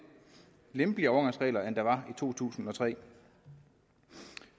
lempeligere overgangsregler end der var i to tusind og tre